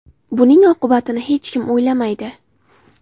Buning oqibatini hech kim o‘ylamaydi.